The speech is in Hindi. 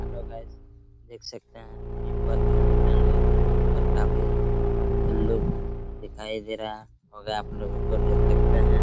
हेलो गाइस देख सकते है यह बस स्टेशन है और काफी मस्त लुक दिखाई दे रहा होगा आप लोगों को देख सकते हैं ।